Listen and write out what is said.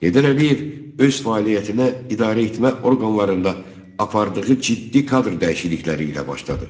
Heydər Əliyev öz fəaliyyətinə idarəetmə orqanlarında apardığı ciddi kadr dəyişiklikləri ilə başladı.